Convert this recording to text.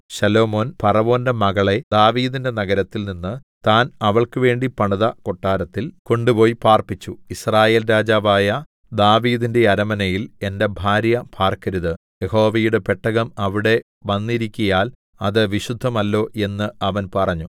ശലോമോൻ ഫറവോന്റെ മകളെ ദാവീദിന്റെ നഗരത്തിൽ നിന്ന് താൻ അവൾക്കുവേണ്ടി പണിത കൊട്ടാരത്തിൽ കൊണ്ടുപോയി പാർപ്പിച്ചു യിസ്രായേൽ രാജാവായ ദാവീദിന്റെ അരമനയിൽ എന്റെ ഭാര്യ പാർക്കരുത് യഹോവയുടെ പെട്ടകം അവിടെ വന്നിരിക്കയാൽ അത് വിശുദ്ധമല്ലോ എന്ന് അവൻ പറഞ്ഞു